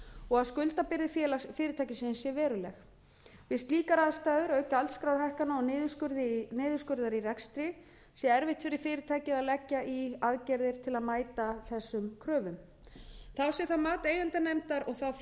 og að skuldabyrði fyrirtækisins sé veruleg við slíkar aðstæður auk gjaldskrárhækkana og niðurskurðar í rekstri sé erfitt fyrir fyrirtækið að leggja í aðgerðir til að mæta þessum kröfum þá sé það mat eigendanefndar og þá fyrir